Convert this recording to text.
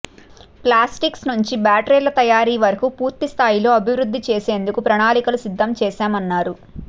plastics నుంచి బ్యాటరీల తయారీ వరకూ పూర్తిస్థాయిలో అభివృద్ధి చేసేందుకు ప్రణాళికలు సిద్ధం చేశామన్నారు